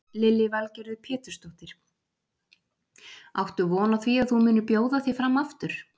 Lillý Valgerður Pétursdóttir: Áttu von á því að þú munir bjóða þig fram aftur?